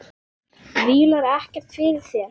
Vílar ekkert fyrir sér.